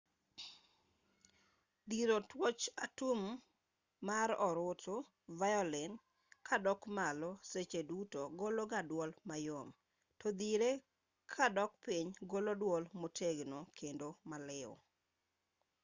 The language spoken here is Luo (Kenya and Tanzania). dhiro twoch atum mar orutu violin kadok malo seche duto golo ga dwol mayom to dhire kadok piny golo dwol motegno kendo maliw